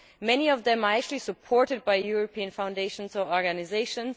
Many of them are actually supported by European foundations or organisations.